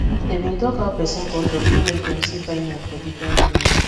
dey been talk how person culture fit make dem see fineness for different ways